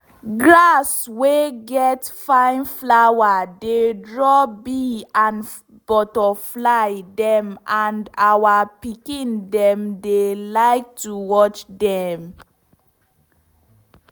grass wey get fine flower dey draw bee and butterfly dem and our pikin dem dey like to watch dem.